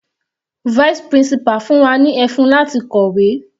Vice principal fún wa ní ẹfun láti kọ̀wé.